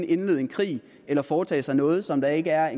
indlede en krig eller foretage sig noget som der ikke er